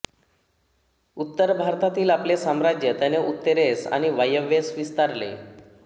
उत्तर भारतातील आपले साम्राज्य त्याने उत्तरेस आणि वायव्येस विस्तारले